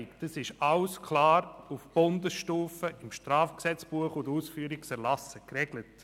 Diese Fragen sind klar auf Bundesstufe, im Schweizerischen Strafgesetzbuch (StGB) und den Ausführungserlassen geregelt.